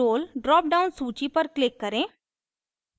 role drop down सूची पर click करें